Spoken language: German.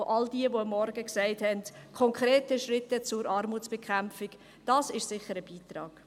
All jene, die am Morgen gesagt haben, konkrete Schritte zur Armutsbekämpfung: Dies ist sicher ein Beitrag.